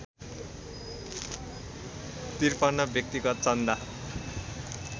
५३ व्यक्तिगत चन्दा